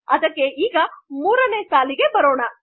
ಅದಕ್ಕೆ ಈಗ ೩ನೇ ಲೈನ್ಗೆ ಬರೋಣ